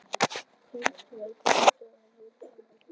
Kristján: En hvað heldurðu að gerist í framhaldinu?